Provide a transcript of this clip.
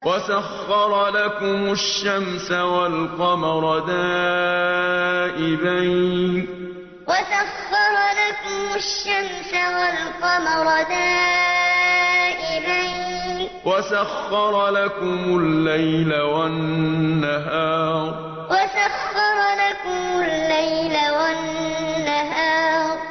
وَسَخَّرَ لَكُمُ الشَّمْسَ وَالْقَمَرَ دَائِبَيْنِ ۖ وَسَخَّرَ لَكُمُ اللَّيْلَ وَالنَّهَارَ وَسَخَّرَ لَكُمُ الشَّمْسَ وَالْقَمَرَ دَائِبَيْنِ ۖ وَسَخَّرَ لَكُمُ اللَّيْلَ وَالنَّهَارَ